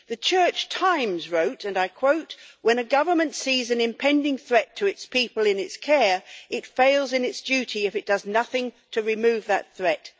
The Church Times wrote, and I quote when a government sees an impending threat to the people in its care, it fails in its duty if does nothing to remove that threat'.